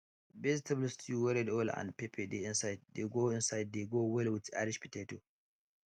vegetable stew wey red oil and pepper dey inside dey go inside dey go well with irish potato